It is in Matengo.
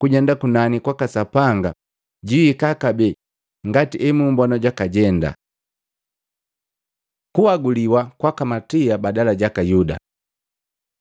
kujenda kunani kwaka Sapanga, jwihika kabee ngati emummbona jwakajenda.” Kunhaguliwa kwaka Matia badala jaka Yuda